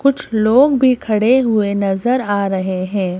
कुछ लोग भी खड़े हुए नजर आ रहे हैं।